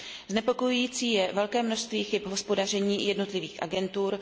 Znepokojující je velké množství chyb v hospodaření jednotlivých agentur.